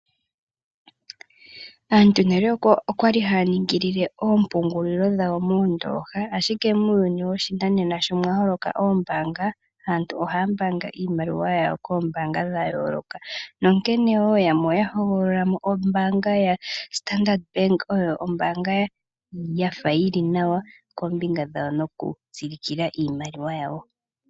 Aantu nale okwali haya ningi oompungulilo dhawo moondoha, ashike muuyuni woshinanena sho mwa holoka oombanga, aantu ohaya mbaanga iimaliwa yawo koombanga dha yooloka nonkene wo yamwe oya hogololamo ombanga ya Standard Bank oyo oombanga yafa yili nawa kombinga yoku tsilikila iimaliwa yawo.